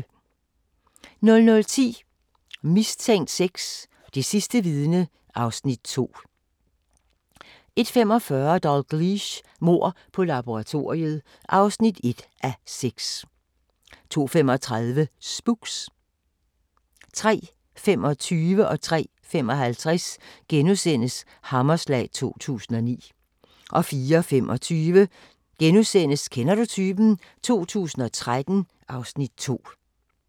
00:10: Mistænkt 6: Det sidste vidne (Afs. 2) 01:45: Dalgliesh: Mord på laboratoriet (1:6) 02:35: Spooks 03:25: Hammerslag 2009 * 03:55: Hammerslag 2009 * 04:25: Kender du typen? 2013 (Afs. 2)*